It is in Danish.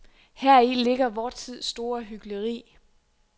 Heri ligger vor tids store hykleri.